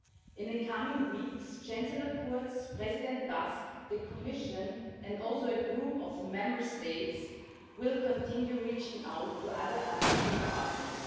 In the coming weeks, Chancellor Kurz, President Tusk, the Commission and a group of Member States will continue reaching out to other African partners.